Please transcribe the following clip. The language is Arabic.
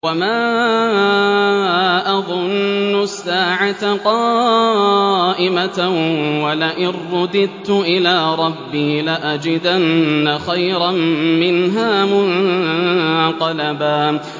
وَمَا أَظُنُّ السَّاعَةَ قَائِمَةً وَلَئِن رُّدِدتُّ إِلَىٰ رَبِّي لَأَجِدَنَّ خَيْرًا مِّنْهَا مُنقَلَبًا